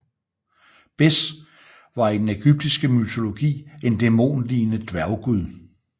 Bes var i den ægyptiske mytologi en dæmonlignende dværggud